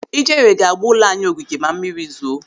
Ijere ga-agba ụlọ anyị ogige ma mmiri zoo.